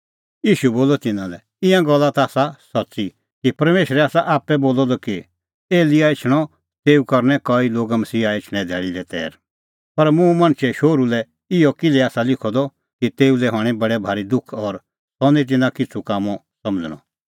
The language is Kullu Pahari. ईशू बोलअ तिन्नां लै ईंयां गल्ला ता आसा सच्च़ी परमेशरै आसा आप्पै बोलअ द कि एलियाह एछणअ तेऊ करनै कई लोग मसीहा एछणें धैल़ी लै तैर पर मुंह मणछे शोहरू लै इहअ किल्है आसा लिखअ द कि तेऊ लै हणैं बडै भारी दुख और सह निं तिन्नां किछ़ू कामों समझ़णअ